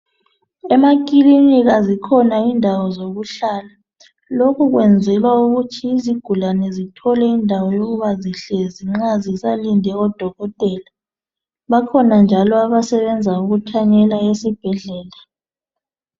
Emakilinika zikhona indawo zokuhlala .Lokhu kwenzelwa ukuthi izigulane zithole indawo yokuba zihlezi zisalinde udokotela. Bakhona njalo abasebenza ukuthanyela esibhedlela.